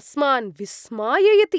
अस्मान् विस्माययति।